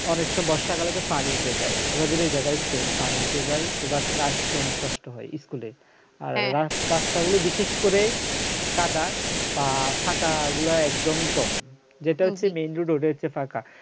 অনেক সব বর্ষাকালে তো পানি উঠে যায় আপনারা যে জায়গায় এসেছেন পানি উঠে যায় তো বাচ্চারা আসতে অনেক কষ্ট হয় school এ আর রাস্তাগুলো বিশেষ করে কাদা পা ফাঁকা গুলা একদমই কম যেটা হচ্ছে main road এর যে ফাঁকা